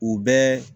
U bɛɛ